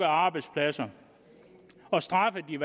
arbejdspladser og straffede